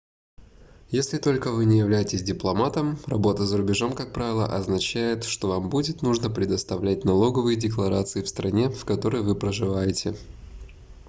если только вы не являетесь дипломатом работа за рубежом как правило означает что вам будет нужно предоставлять налоговые декларации в стране в которой вы проживаете